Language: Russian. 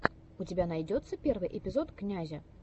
у тебя найдется первый эпизод князя